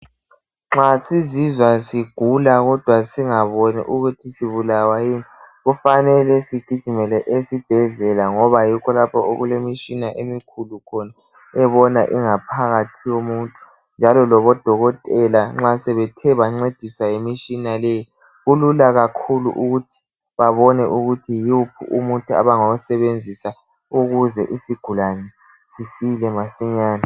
Nxa siziswa sigula kodwa singaboni ukuthi sibulawa yini kufanele sigijimele esibhedlela okulemitshina emikhulu ebona ingaphakathi yomuntu. Nxa odokotela sebethe bancediswa yimitshina le kulula kakhulu ukuthi babone umuthi abangawusebenzisa ukuze isigulane sisile masinyane.